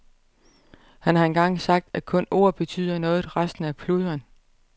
Han har engang sagt, at kun ord betyder noget, resten er pludren.